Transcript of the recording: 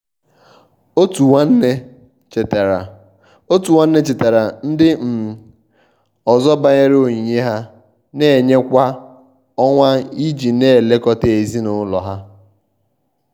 otu nwanne chetara otu nwanne chetara ndi um ọzọ banyere onyinye ha na-enye kwa ọnwa iji na-elekọta ezinụlọ ha.